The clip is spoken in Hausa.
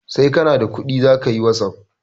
Sai kana da kuɗi zakayi wasuf